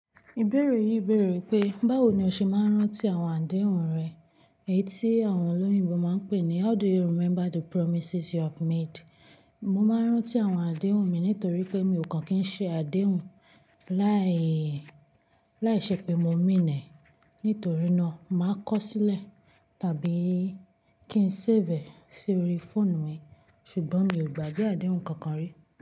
Ìbéèrè yìí béèrè pé, báwo ni o ṣe máa ń rántí àwọn àdéhùn rẹ? Èyí tí àwọn olóyìnbo máa ń pè ní how do you remember the promises you have made? Mo máa ń rántí àwọn àdéhùn mi nítorí pé mi ò kàn kín ṣe àdéhùn láì, láìṣẹ́ pé mo mean e Nítorí náà, màá kọ ó sílẹ̀ tàbí kí n save sí orí fóònù mi. Ṣùgbọ́n mi ò gbà bí àdéhùn kankan rí.